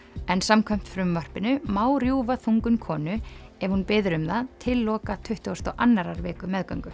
en samkvæmt frumvarpinu má rjúfa þungun konu ef hún biður um það til loka tuttugustu og annarrar viku meðgöngu